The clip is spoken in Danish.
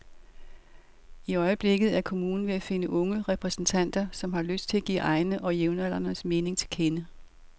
I øjeblikket er kommunen ved at finde unge repræsentanter, som har lyst til at give egne og jævnaldrendes mening til kende.